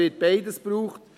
Aber beides wird gebraucht.